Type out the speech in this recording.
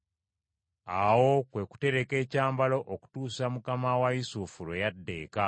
Awo kwe kutereka ekyambalo okutuusa mukama wa Yusufu lwe yadda eka.